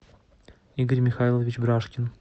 игорь михайлович бражкин